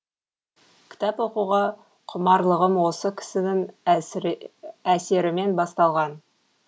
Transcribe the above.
кітап оқуға құмарлығым осы кісінің әсерімен басталған